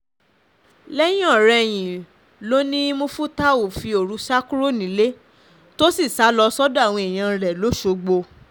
lẹ́yìn-ọ̀-rẹyìn ló ní mufútáù fi òru sá kúrò nílé tó sì sá lọ sọ́dọ̀ àwọn èèyàn rẹ̀ lọ́sọ̀gbọ̀